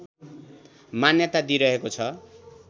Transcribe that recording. मान्यता दिइरहेको छ